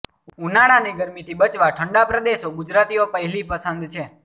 ઉનાળાની ગરમીથી બચવા ઠંડા પ્રદેશો ગુજરાતીઓ પહેલી પસંદ છે